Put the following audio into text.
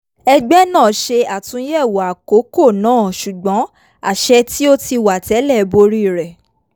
ẹgbẹ́ náà ṣe àtúnyẹ̀wọ̀ àkókò náà ṣùgbọ́n àṣẹ tí ó ti wà tẹ́lẹ̀ borí rẹ̀